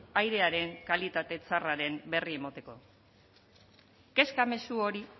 airearen kalitate txarraren berri emoteko kezka mezu hori